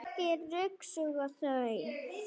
Nei, ekki ryksuga þau.